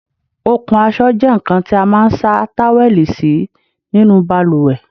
Okùn aṣọ jẹ nkan tí a máa n sa táwẹ́lì sí nínú baluwẹ̀